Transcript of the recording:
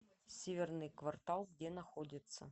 северный квартал где находится